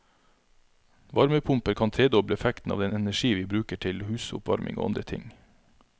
Varmepumper kan tredoble effekten av den energi vi bruker, til husoppvarming og andre ting.